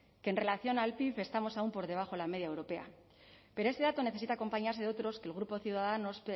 que en relación al pib estamos aún por debajo de la media europea pero ese dato necesita acompañarse de otros que el grupo